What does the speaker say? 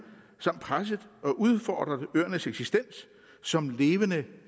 samt presset og udfordret øernes eksistens som levende